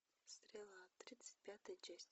стрела тридцать пятая часть